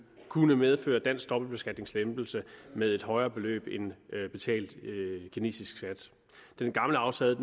kunne medføre dansk dobbeltbeskatningslempelse med et højere beløb end betalt kinesisk skat den gamle aftale